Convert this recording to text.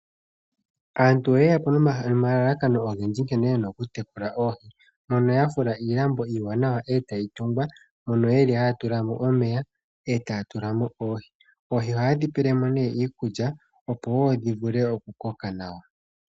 Aantu oye ya po nomalalakano ogendji nkene yena oku tekula oohi mono ya fula iilambo iiwanawa etayi tungwa. Ohaya tula mo omeya etaya tula mo oohi. Oohi ohaye dhi pele mo iikulya opo dhi vule oku koka nawa.